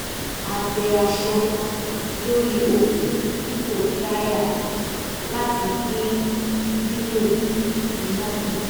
a gbẹ aṣọ lórí okùn dipo drier láti dín lílò iná kù